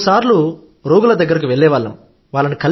మూడు సార్లు రోగుల దగ్గరకు వెళ్లేవాళ్లం